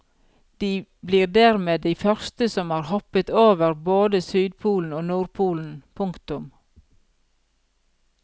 De blir dermed de første som har hoppet over både sydpolen og nordpolen. punktum